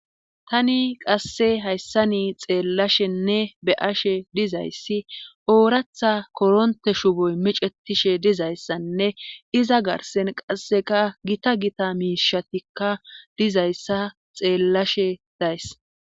tani qasse hayssani xeellashenne be'ashe dizayssi ooraththa koronte shuuboy micetishe dizayssanne iza garssen qasseka gita gita miishatikka dizayssa xeellashe days